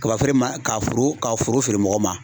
Kaba feere ma ka foro ka foro feere mɔgɔ ma